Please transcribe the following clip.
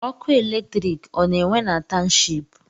Ọkụ electriki ọ na-enwe na township?